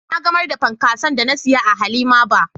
Na gamar da punkason da na siya a 'Halima bar "